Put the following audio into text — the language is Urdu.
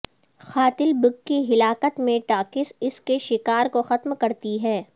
قاتل بگ کی ہلاکت میں ٹاکس اس کے شکار کو ختم کرتی ہے